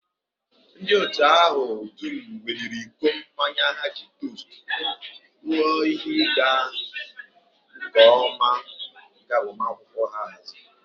Ndị otu ahụ dum weliri iko mmanya ha iji tost ruo ihe ịga nke ọma nke agbamakwụkwọ ha haziri